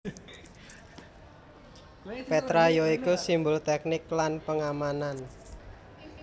Petra ya iku simbol teknik lan pengamanan